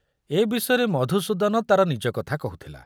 ଏ ବିଷୟରେ ମଧୁସୂଦନ ତାର ନିଜ କଥା କହୁଥିଲା।